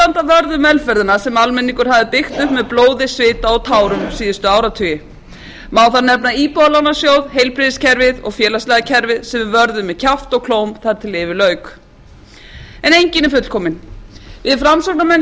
vörð um velferðina sem almenningur hafði byggt upp með blóði svita og tárum síðustu áratugi má þar nefna íbúðalánasjóð heilbrigðiskerfið og félagslega kerfið sem við vörðum með kjafti og klóm þar til yfir lauk en enginn er fullkominn við framsóknarmenn